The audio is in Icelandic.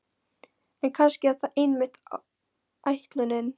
En kannski er það einmitt ætlunin.